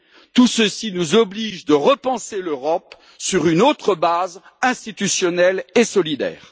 Tout ceci nous oblige à repenser l'Europe sur une autre base institutionnelle et solidaire.